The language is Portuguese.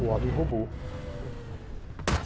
O homem robô.